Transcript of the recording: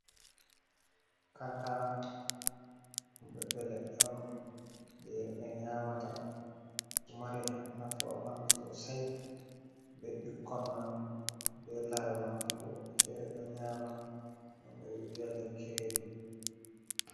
Kankana ɓiɓɓe leɗɗe on je himɓe nyamata, ɗo mari nafu ha ɓandu sosai be ɓikkon man be lare man fu, fere ɗo nyama ngam ɓe via lekki redu.